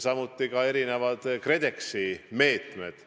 Samuti on erinevad KredExi meetmed.